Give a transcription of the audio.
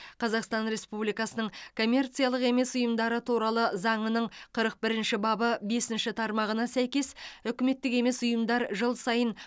қазақсан республикасының коммерциялық емес ұйымдары туралы заңының қырық бірінші бабы бесінші тармағына сәйкес үкіметтік емес ұйымдар жыл сайын